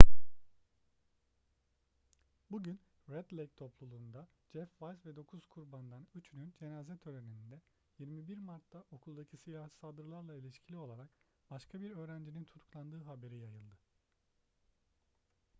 bugün red lake topluluğunda jeff weise ve dokuz kurbandan üçünün cenaze töreninde 21 mart'ta okuldaki silahlı saldırılarla ilişkili olarak başka bir öğrencinin tutuklandığının haberi yayıldı